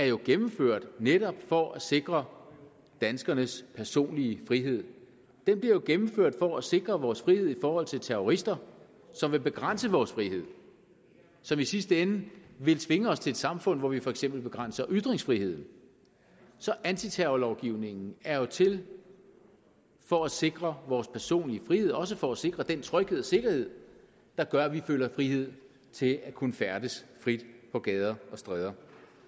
jo er gennemført netop for at sikre danskernes personlige frihed den blev gennemført for at sikre vores frihed i forhold til terrorister som vil begrænse vores frihed og som i sidste ende vil tvinge os til at samfund hvor vi for eksempel begrænser ytringsfriheden så antiterrorlovgivningen er jo til for at sikre vores personlige frihed og også for at sikre den tryghed og sikkerhed der gør at vi føler frihed til at kunne færdes frit på gader og stræder